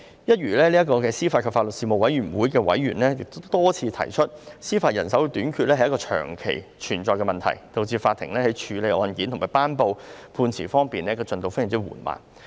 一如司法及法律事務委員會的委員多次提出，司法人手短缺是一個長期存在的問題，導致法庭在處理案件和頒布判詞的進度非常緩慢。